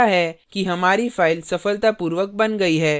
यह दर्शाता है कि हमारी file सफलतापूर्वक बन गई है